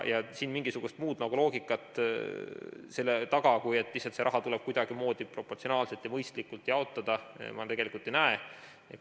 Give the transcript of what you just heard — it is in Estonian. Siin mingisugust muud loogikat selle taga, kui et see raha tuleb kuidagimoodi proportsionaalselt ja mõistlikult jaotada, ma tegelikult ei näe.